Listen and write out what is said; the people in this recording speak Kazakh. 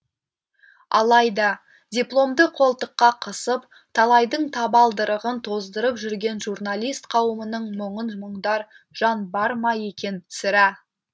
алайда дипломды қолтыққа қысып талайдың табалдырығын тоздырып жүрген журналист қауымының мұңын мұңдар жан бар ма екен сірә